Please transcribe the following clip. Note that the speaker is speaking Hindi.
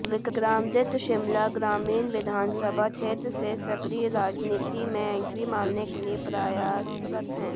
विक्रमादित्य शिमला ग्रामीण विधानसभा क्षेत्र से सक्रिय राजनीति में एंट्री मारने के लिए प्रयासरत हैं